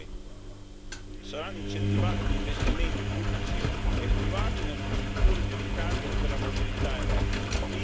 2 Saranno incentivati gli investimenti pubblici e privati in infrastrutture di ricarica per la mobilità elettrica.